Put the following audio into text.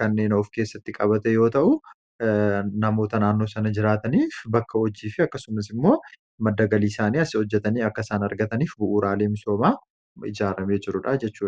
kanneen of keessatti qabate yoo ta'u namoota naannoo sana jiraataniif bakka hojii fi akkasumas immoo maddagaliiisaanii asi hojjatanii akkasaan argataniif bu'uuraalee misoomaa ijaaramee jiruudha jechu.